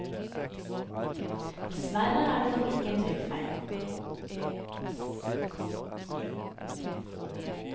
Dessverre er nok dette ikke en trykkfeil.